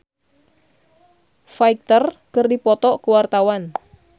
Irish Bella jeung Foo Fighter keur dipoto ku wartawan